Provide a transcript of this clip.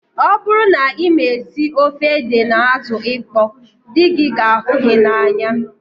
Ọ bụrụ na ịma esi ofe ede na azụ ịkpọ dị gị ga ahụ gị n'anya